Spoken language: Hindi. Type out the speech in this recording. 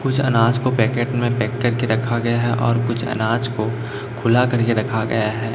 कुछ अनाज को पैकेट में पैक करके रखा गया हैं और कुछ अनाज को खुला करके रखा गया हैं।